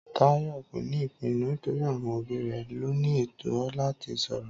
Táyò kò ní ìpinnu nítorí àwọn òbí rẹ̀ lóní ètó láti sòrò